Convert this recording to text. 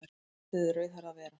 Látið rauðhærða vera